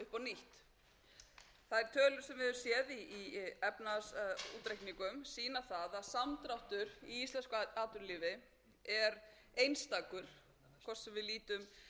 höfum séð í efnahagsútreikningum sýna það að sá samdráttur í íslensku atvinnulífi er einstakur hvort sem við lítum austur eða vestur um haf það er að mínu mati alveg á